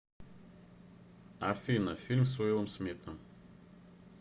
афина фильм с уилом смитом